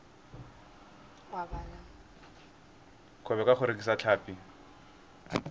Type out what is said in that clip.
kgwebo ka go rekisa tlhapi